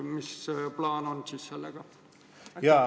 Mis plaan on sellega?